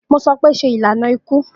Mo sọ pe, ṣe ilana iku.